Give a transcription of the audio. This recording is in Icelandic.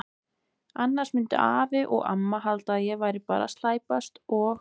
Annars myndu afi og amma halda að ég væri bara að slæpast og.